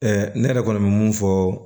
ne yɛrɛ kɔni bɛ mun fɔ